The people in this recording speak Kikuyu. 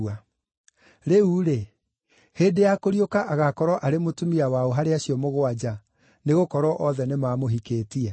Rĩu-rĩ, hĩndĩ ya kũriũka agaakorwo arĩ mũtumia wa ũ harĩ acio mũgwanja, nĩgũkorwo othe nĩmamũhikĩtie?”